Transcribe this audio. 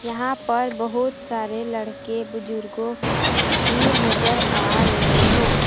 यहां पर बहुत सारे लड़के बुजुर्गों भी नजर आ रहे हैं ।